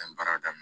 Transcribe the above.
N ye baara daminɛ